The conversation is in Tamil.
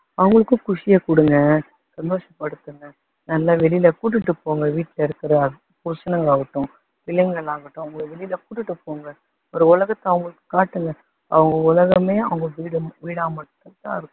அவங்களுக்கும் குஷியை கொடுங்க சந்தோச படுத்துங்க, நல்லா வெளியில கூட்டிட்டு போங்க வீட்டுல இருக்க புருஷனுங்களாகட்டும் பிள்ளைங்களாகட்டும் அவங்களை வெளியில கூட்டிட்டு போங்க. ஒரு உலகத்தை அவங்களுக்கு காட்டுங்க அவங்க உலகமே அவங்க வீடு வீடா மட்டும் தான் இருக்கும்